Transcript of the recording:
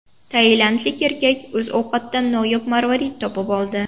Tailandlik erkak o‘z ovqatidan noyob marvarid topib oldi.